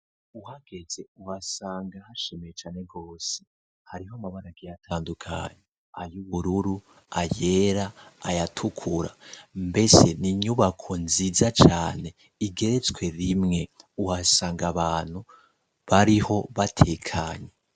Uhageze uhasanga hashimye cane gose, hariho amabara agiye atandukanye, ay'ubururu, ayera, ayatukura, mbese n'inyubako nziza cane igeretswe rimwe, uhasanga abantu bariho batekanye.